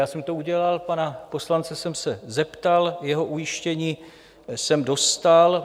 Já jsem to udělal, pana poslance jsem se zeptal, jeho ujištění jsem dostal.